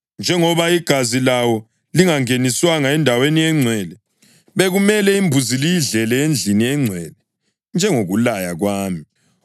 Njengoba igazi lawo lingangeniswanga eNdaweni eNgcwele, bekumele imbuzi liyidlele endlini engcwele njengokulaya kwami.”